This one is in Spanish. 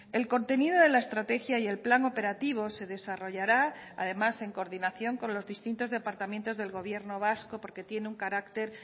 el contenido de la estrategia y el plan operativo se desarrollará además en coordinación con los distintos departamentos del gobierno vasco porque tiene un carácter